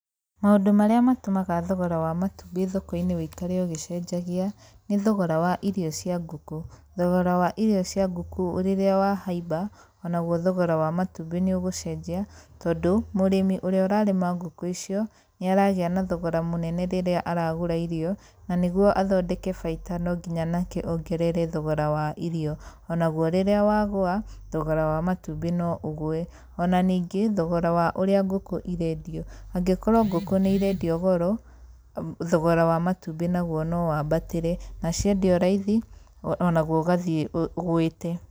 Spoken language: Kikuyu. Maũndũ marĩa matũmaga thogora wa matumbĩ thoko-inĩ ũikare ũgĩcenjagia, nĩ thogora wa irio cia ngũkũ. Thogora wa irio cia ngũkũ rĩrĩa wahaimba, ona guo thogora wa matumbĩ nĩ ũgũcenjia tondũ, mũrĩmi ũrĩa ũrarĩma ngũkũ icio nĩ aragĩa na thogora mũnene rĩrĩa aragũra irio na nĩguo athondeke baita no nginya onake ongerere thogora wa irio, onaguo rĩrĩa wagũa, thogora wa matumbĩ no ũgũe. Ona ningĩ, thogora wa ũrĩa ngũkũ irendio angĩkorwo ngũkũ nĩ irendio goro, thogora wa matumbĩ ona guo no wambatire na ciendio raithi ona guo ũgathiĩ ũgũĩte.